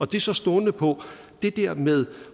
det er så stående på det der med